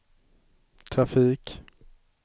trafik